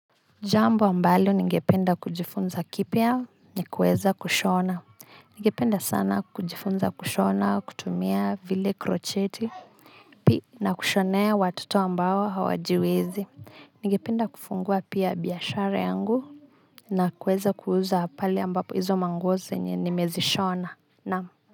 Jambo ambalo ningependa kujifunza kipia ni kuweza kushona ningependa sana kujifunza kushona kutumia vile krocheti na kushonea watoto ambao hawajiwezi ningependa kufungua pia biiashara yangu na kuweza kuuza pale ambapo hizo manguo zenye nimezishona naam.